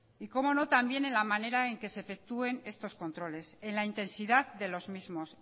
y cómo no también en la manera en se efectúen estos controles en la intensidad de los mismos